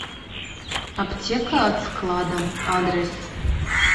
аптека от склада адрес